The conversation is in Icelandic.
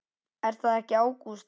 Er það ekki Ágústa?